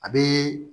A bɛ